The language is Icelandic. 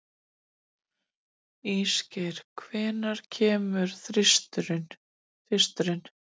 Ísgeir, hvenær kemur tvisturinn?